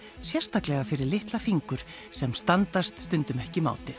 sérstaklega fyrir litla fingur sem standast stundum ekki mátið